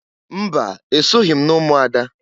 Mba! Esoghi m n'umuada.